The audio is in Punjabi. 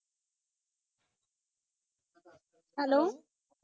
hello